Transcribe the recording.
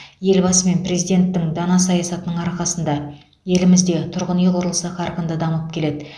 елбасы мен президенттің дана саясатының арқасында елімізде тұрғын үй құрылысы қарқынды дамып келеді